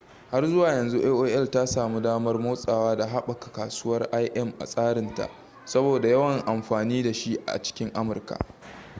har zuwa yanzu aol ta sami damar motsawa da haɓaka kasuwar im a tsarin ta saboda yawan amfani da shi a cikin amurka